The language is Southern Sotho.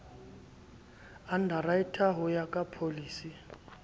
underwriter ho ya ka pholisi